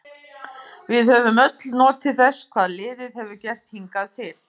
Við höfum öll notið þess hvað liðið hefur gert hingað til.